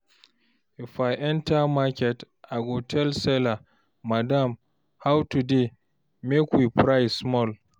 If I enter market, I go tell seller, "Madam, how today? Make we price small!"